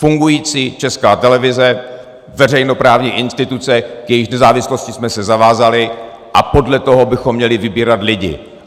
Fungující Česká televize, veřejnoprávní instituce, k jejíž nezávislosti jsme se zavázali, a podle toho bychom měli vybírat lidi.